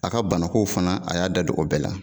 A ka banako fana a y'a da don o bɛɛ la